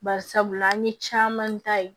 Bari sabula an ye caman ta ye